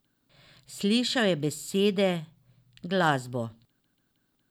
Slišal je besede, glasbo.